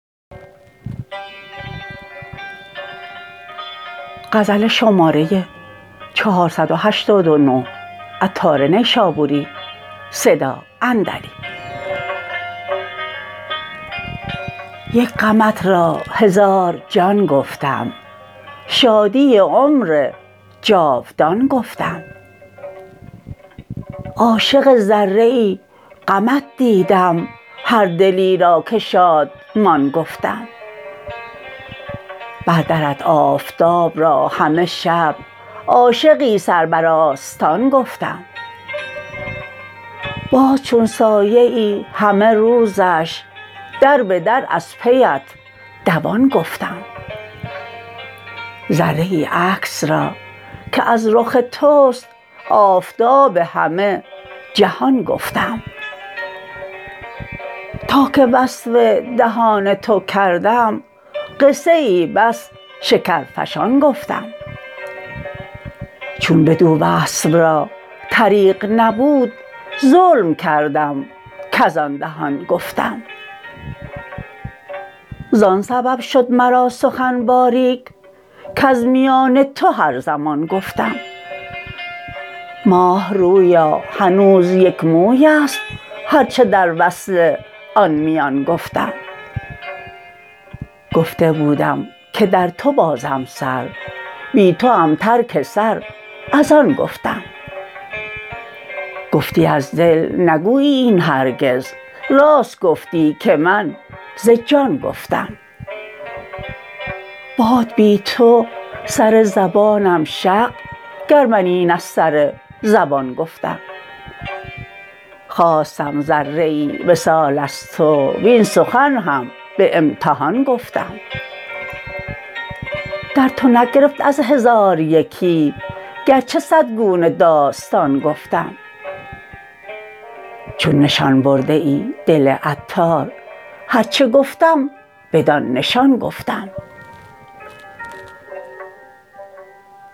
یک غمت را هزار جان گفتم شادی عمر جاودان گفتم عاشق ذره ای غمت دیدم هر دلی را که شادمان گفتم بر درت آفتاب را همه شب عاشقی سر بر آستان گفتم باز چون سایه ای همه روزش در بدر از پیت دوان گفتم ذره ای عکس را که از رخ توست آفتاب همه جهان گفتم تا که وصف دهان تو کردم قصه ای بس شکرفشان گفتم چون بدو وصف را طریق نبود ظلم کردم کزان دهان گفتم زان سبب شد مرا سخن باریک کز میان تو هر زمان گفتم ماه رویا هنوز یک موی است هرچه در وصل آن میان گفتم گفته بودم که در تو بازم سر بی توام ترک سر از آن گفتم گفتی از دل نگویی این هرگز راست گفتی که من ز جان گفتم باد بی تو سر زبانم شق گر من این از سر زبان گفتم خواستم ذره ای وصال از تو وین سخن هم به امتحان گفتم در تو نگرفت از هزار یکی گرچه صد گونه داستان گفتم چون نشان برده ای دل عطار هرچه گفتم بدان نشان گفتم